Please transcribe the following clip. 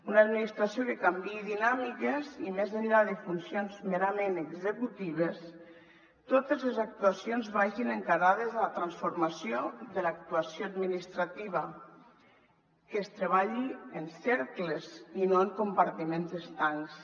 una administració que canviï dinàmiques i més enllà de funcions merament executives totes les actuacions vagin encarades a la transformació de l’actuació administrativa que es treballi en cercles i no en compartiments estancs